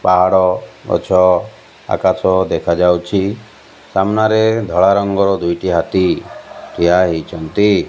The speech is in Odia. ପାହାଡ଼ ଗଛ ଆକାଶ ଦେଖାଯାଉଛି ସାମ୍ନାରେ ଧଳା ରଙ୍ଗର ଦୁଇଟି ହାତୀ ଠିଆ ହେଇଛନ୍ତି।